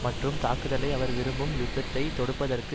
மற்றும் தாக்குதலை அவர் விரும்பும் யுத்தத்தை தொடுப்பதற்கு